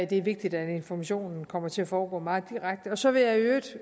det er vigtigt at informationen kommer til at foregå meget direkte så vil jeg i øvrigt